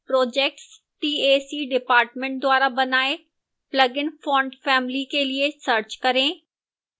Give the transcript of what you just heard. projectes tac dept द्वारा बनाए plugin font family के लिए search करें